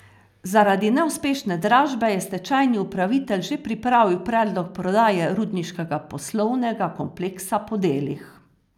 Zaradi neuspešne dražbe je stečajni upravitelj že pripravil predlog prodaje rudniškega poslovnega kompleksa po delih.